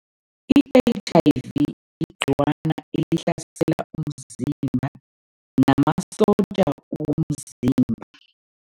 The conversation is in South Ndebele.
I-H_I_V igcikwana elihlasela umzimba namasotja womzimba.